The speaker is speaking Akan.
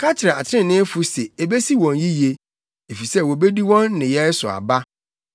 Ka kyerɛ atreneefo se ebesi wɔn yiye, efisɛ wobedi wɔn nneyɛe so aba.